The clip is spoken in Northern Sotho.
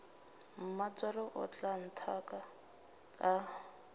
mmatswale o tla nthaka a